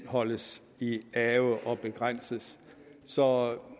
holdes i ave og begrænses så